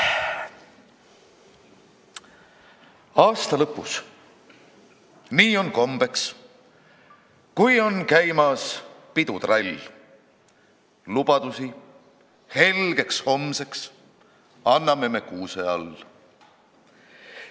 Aasta lõpus, nii on kombeks, kui on käimas pidutrall, lubadusi helgeks homseks anname me kuuse all.